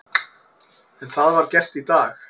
En það var gert í dag.